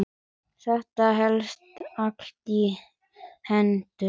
Þetta helst allt í hendur.